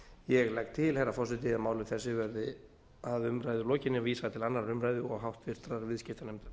ég legg til herra forseti að máli þessu verði að umræðu lokinni vísað til annarrar umræðu og háttvirtur viðskiptanefndar